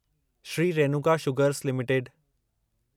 Shri Renuka Sugars limited